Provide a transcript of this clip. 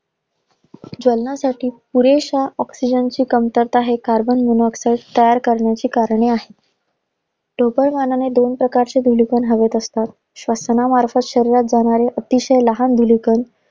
जलनासाठी पुरेश्या oxygen ची कमतरता आहे. Carbon monoxide तयार करण्याची कारणं आहे. ढोबळ मानाने दोन प्रकारची धुळी कण हवेत असतात. श्वसनामार्फत शरीरात जाणारे अतिशय लहान धूलिकण